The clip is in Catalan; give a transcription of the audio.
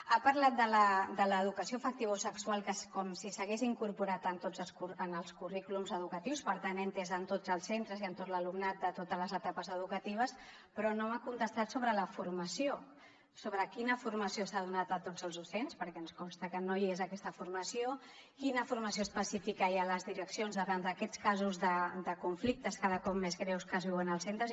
ha parlat de l’educació afectivosexual com si s’hagués incorporat en tots els currículums educatius per tant he entès que en tots els centres i en tot l’alumnat de totes les etapes educatives però no m’ha contestat sobre la formació sobre quina formació s’ha donat a tots els docents perquè ens consta que no hi és aquesta formació quina formació específica hi ha a les direccions davant d’aquests casos de conflictes cada cop més greus que es viuen als centres